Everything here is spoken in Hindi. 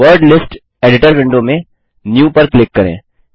वर्ड लिस्ट एडिटर विंडो में न्यू पर क्लिक करें